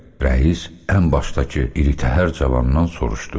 Rəis ən başdakı iri təhər cavandan soruşdu.